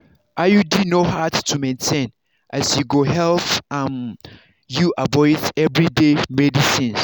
iud no hard to maintain as e go help um you avoid everyday medicines.